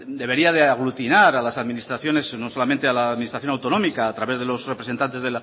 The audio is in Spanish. debería de aglutinar a las administraciones no solamente a la administración autonomía a través de los representantes